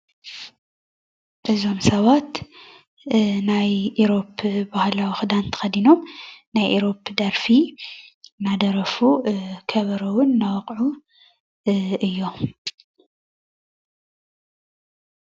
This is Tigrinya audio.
እዞም ሰባት ናይ ኢሮብ ባህላዊ ክዳን ተከዲኖም ናይ ኢሮብ ደርፊ እናደረፉ ከበሮ እውን እናወቅዑ እዮም፡፡